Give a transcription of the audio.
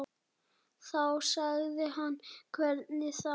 Þá sagði hann hvernig þá.